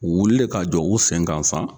O wulilen ka jɔ u senkan san